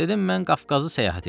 Dedim mən Qafqazı səyahət eləyirəm.